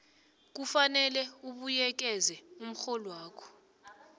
kufanele ubuyekeze umrholwakho